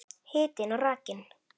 Hitinn og rakinn.